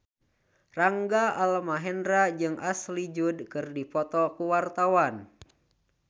Rangga Almahendra jeung Ashley Judd keur dipoto ku wartawan